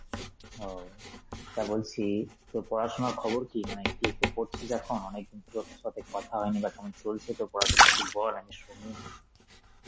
ও, তা বলছি তোর পড়াশোনার খবর কি, মানে কিসে পড়ছিস এখন? অনেকদিন তোর সাথে কথা হয়নি বা কেমন চলছে তোর পড়াশোনা, একটু বল আমি শুনি.